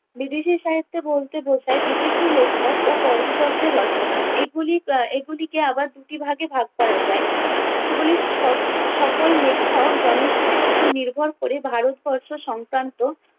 বিদেশী সাহিত্যে বলতে বোঝায় বিদেশী লেখক ও পর্যটকদের রচনা। এগুলি আহ এগুলিকে আবার দুটি ভাগে ভাগ করা যায়। সেগুলি স~ সকল লেখক জনশ্রুতির ওপর নির্ভর ক'রে ভারতবর্ষ সংক্রান্ত